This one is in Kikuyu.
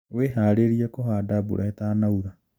Wĩharĩrie kũhanda mbura ĩtanaura